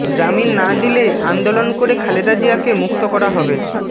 জামিন না দিলে আন্দোলন করে খালেদা জিয়াকে মুক্ত করা হবে